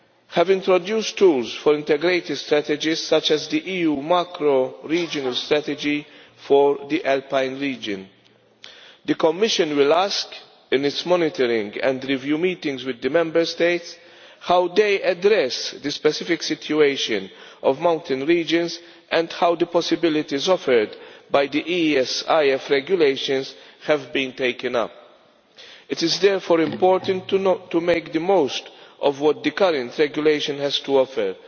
have introduced tools for integrated strategies, such as the EU macro regional strategy for the Alpine Region. The Commission will ask in its monitoring and review meetings with the Member States how they address the specific situation of mountain regions and how the possibilities offered by the ESIF Regulations have been taken up. It is therefore important to make the most of what the current Regulation has to offer,